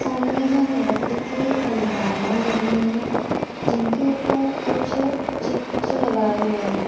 सामने जो वो लकड़ी की अलमारियां बनी हुई है जिनके ऊपर कुछ चित्र लगाए हुए हैं।